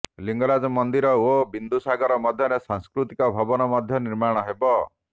ଲିଙ୍ଗରାଜ ମନ୍ଦିର ଓ ବିନ୍ଦୁସାଗର ମଧ୍ୟରେ ସାଂସ୍କୃତିକ ଭବନ ମଧ୍ୟ ନିର୍ମାଣ ହେବ